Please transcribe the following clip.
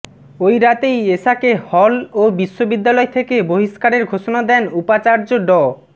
ওই রাতেই এশাকে হল ও বিশ্ববিদ্যালয় থেকে বহিষ্কারের ঘোষণা দেন উপাচার্য ড